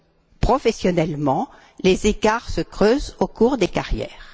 Ainsi, professionnellement, les écarts se creusent au cours des carrières.